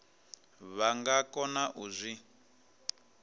vha nga kona u zwi